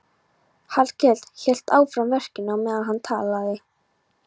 Hallkell hélt áfram verkinu á meðan hann talaði.